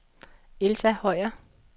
Elsa Høyer